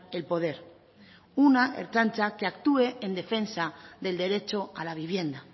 el poder una ertzaintza que actúe en defensa del derecho a la vivienda